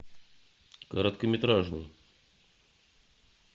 короткометражный